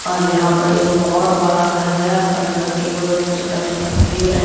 और यहां पर एक बहुत बड़ा घर है और घर के बगल में छोटा छोटा पेड़ है।